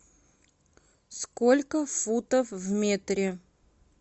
сколько футов в метре